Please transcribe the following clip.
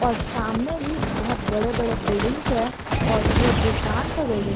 और सामने भी बहुत बड़े बड़े बिल्डिंग्स है और वो दुकान का बिल्डिंग --